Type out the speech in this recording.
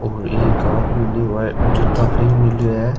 और एक आदमी नि है ओ जुता पहन मेलो है।